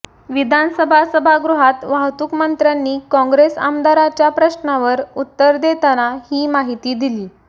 विधानसभा सभागृहात वाहतूक मंत्र्यांनी काँग्रेस आमदाराच्या प्रश्नावर उत्तर देताना ही माहिती दिली